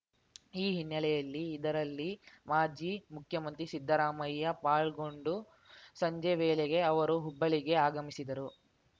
ಈ ಹಿನ್ನೆಲೆಯಲ್ಲಿ ಇದರಲ್ಲಿ ಮಾಜಿ ಮುಖ್ಯಮಂತ್ರಿ ಸಿದ್ದರಾಮಯ್ಯ ಪಾಲ್ಗೊಂಡು ಸಂಜೆ ವೇಳೆಗೆ ಅವರು ಹುಬ್ಬಳ್ಳಿಗೆ ಆಗಮಿಸಿದರು